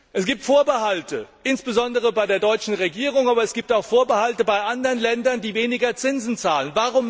Es gibt Vorbehalte, insbesondere bei der deutschen Regierung, aber es gibt auch Vorbehalte bei anderen Ländern, die weniger Zinsen zahlen.